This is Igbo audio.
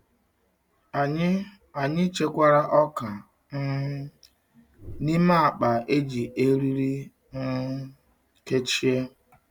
Anyị Anyị chekwara ọka um n'ime akpa e ji eriri um kechie